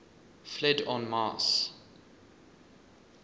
fled en masse